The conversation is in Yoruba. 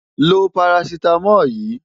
Lo parasítámọ̀ yìí!